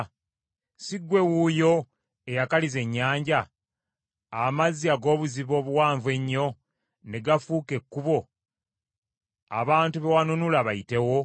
Si ggwe wuuyo eyakaliza ennyanja, amazzi ag’obuziba obuwanvu ennyo ne gafuuka ekkubo abantu be wanunula bayitewo?